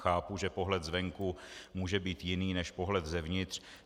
Chápu, že pohled zvenku může být jiný než pohled zevnitř.